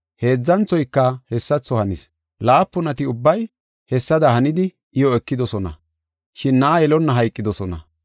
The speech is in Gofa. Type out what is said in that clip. Heedzanthoyka hessatho hanis. Laapunati ubbay hessada hanidi iyo ekidosona, shin na7a yelonna hayqidosona.